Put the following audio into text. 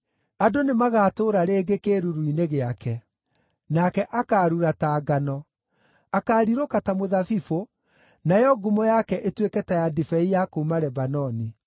Andũ nĩmagatũũra rĩngĩ kĩĩruru-inĩ gĩake. Nake akaarura ta ngano. Akaarirũka ta mũthabibũ, nayo ngumo yake ĩtuĩke ta ya ndibei ya kuuma Lebanoni.